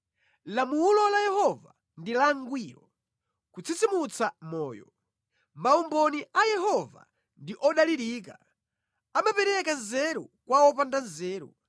Lamulo la Yehova ndi langwiro, kutsitsimutsa moyo. Maumboni a Yehova ndi odalirika, amapereka nzeru kwa wopanda nzeru.